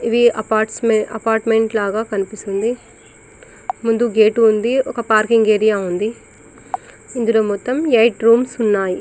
ఇది అపార్ట్మెంట్ లాగ కనిపిస్తుంది ముందు గేట్ ఉంది ఒక పార్కింగ్ ఏరియా ఉంది ఇందులో మొత్తం ఎయిట్ రూమ్స్ ఉన్నాయి